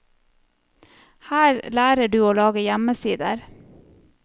Her lærer du å lage hjemmesider.